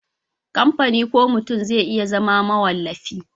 kamfani ko mutum zai iya zama mawallafi